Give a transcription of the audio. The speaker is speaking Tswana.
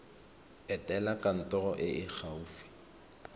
etela kantoro e e gaufi